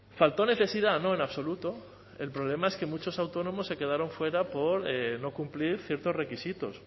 faltó necesidad no en absoluto el problema es que muchos autónomos se quedaron fuera por no cumplir ciertos requisitos